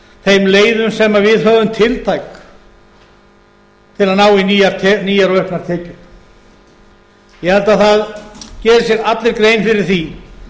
þeim leiðum sem við höfum tiltæk til að ná í nýjar og auknar tekjur ég held að það geri sér allir grein fyrir því